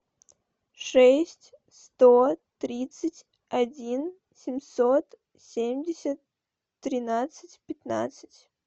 шесть сто тридцать один семьсот семьдесят тринадцать пятнадцать